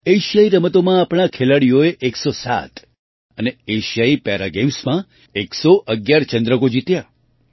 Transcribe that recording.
એશિયાઈ રમતોમાં આપણા ખેલાડીઓએ 107 અને એશિયાઈ પેરા ગેમ્સમાં ૧૧૧ ચંદ્રકો જીત્યા